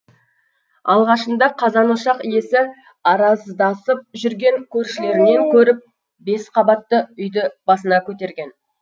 алғашында қазан ошақ иесі араздасып жүрген көршілерінен көріп бес қабатты үйді басына көтерген